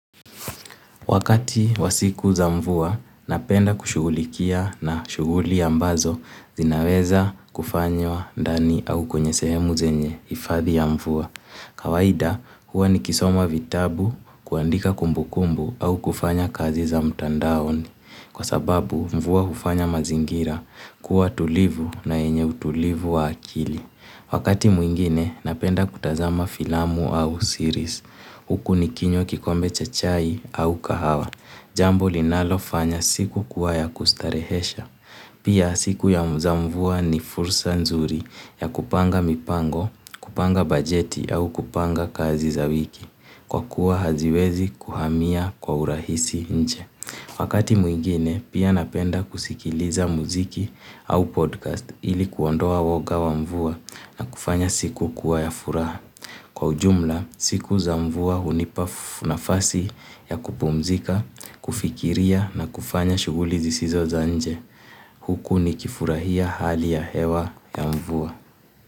Wakati wasiku za mvua, napenda kushugulikia na shuguli ambazo zinaweza kufanywa ndani au kwenye sehemu zenye hifadhi ya mvua. Kawaida, huwa nikisoma vitabu, kuandika kumbukumbu au kufanya kazi za mtandaoni. Kwa sababu, mvua hufanya mazingira, kuwa tulivu na yenye utulivu wa akili. Wakati mwingine, napenda kutazama filamu au siris. Huku nikinywa kikombe cha chai au kahawa. Jambo linalo fanya siku kuwa yakustarehesha. Pia siku ya zaa mvua ni fursa nzuri ya kupanga mipango, kupanga bajeti au kupanga kazi za wiki. Kwa kuwa haziwezi kuhamia kwa urahisi nche. Wakati mwigine, pia napenda kusikiliza muziki au podcast ili kuondoa woga wa mvua na kufanya siku kuwa ya furaha. Kwa ujumla, siku za mvua hunipa nafasi ya kupumzika, kufikiria na kufanya shuguli zisizo za nje. Huku ni kifurahia hali ya hewa ya mvua.